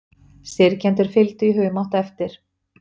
Syrgjendurnir fylgdu í humátt eftir.